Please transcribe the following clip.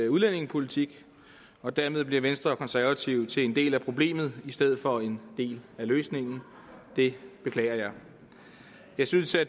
udlændingepolitik og dermed bliver venstre og konservative til en del af problemet i stedet for en del af løsningen det beklager jeg jeg synes at